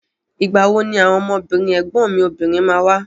Ìgbà wo ni àwọn ọmọbìnrin ẹ̀gbọ́n mi obìnrin ma wá?